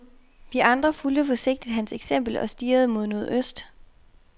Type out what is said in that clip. Vi andre fulgte forsigtigt hans eksempel og stirrede mod nordøst.